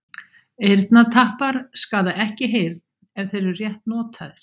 Eyrnatappar skaða ekki heyrn ef þeir eru rétt notaðir.